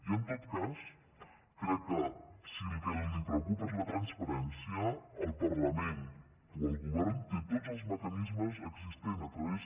i en tot cas crec que si el que li preocupa és la transparència el parlament o el govern té tots els mecanismes existents a través